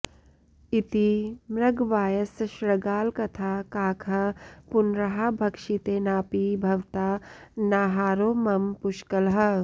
इति मृगवायसशृगालकथा काकः पुनराह भक्षितेनापि भवता नाहारो मम पुष्कलः